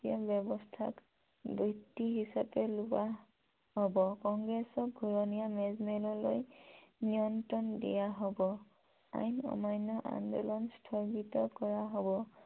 ব্য়ৱস্থাক - হিচাপে লোৱা হব । কংগ্ৰেছক ঘুৰনীয়া মেজমেললৈ নিমন্ত্ৰন দিয়া হব । আইন অমান্য় আন্দোলন স্থগিত কৰা হব